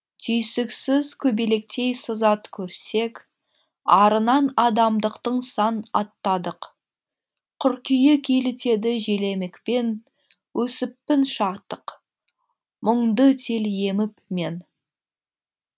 түйсіксіз көбелектей сызат көрсек арынан адамдықтың сан аттадық қыркүйек елітеді желемікпен өсіппін шаттық мұңды тел еміп мен